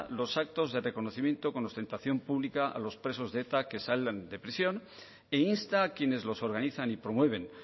los actos de reconocimiento con ostentación pública a los presos de eta que salgan de prisión e insta a quienes los organizan y promueven